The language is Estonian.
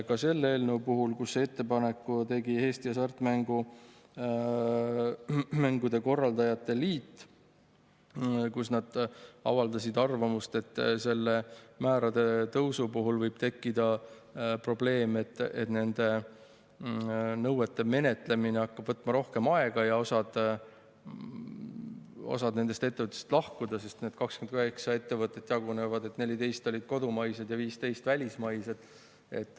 Ka selle eelnõu puhul tegi ettepaneku Eesti Hasartmängude Korraldajate Liit, kes avaldas arvamust, et sellisel määral tõstmise puhul võib tekkida probleem, et nende nõuete menetlemine hakkab võtma rohkem aega ja osa ettevõtetest lahkuvad, sest need 28 ettevõtet jagunevad nii, et 14 olid kodumaised ja 15 välismaised.